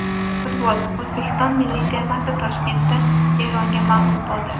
Futbol: O‘zbekiston milliy termasi Toshkentda Eronga mag‘lub bo‘ldi.